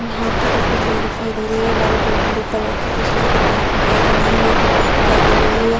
यहाँ पर एक बिल्डिंग दिखाई दे रही है वाइट और ब्लू कलर की बिजली के तार दिखाई दे रहे हैं एक रॉड दिखाई दे रही है।